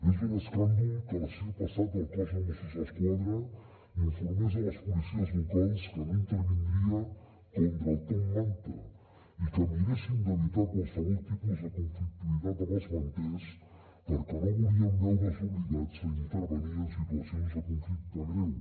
és un escàndol que l’estiu passat el cos de mossos d’esquadra informés a les policies locals que no intervindria contra el top manta i que miressin d’evitar qualsevol tipus de conflictivitat amb els manters perquè no volien veure’s obligats a intervenir en situacions de conflicte greu